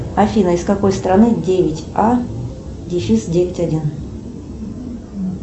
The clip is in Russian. афина из какой страны девять а дефис девять один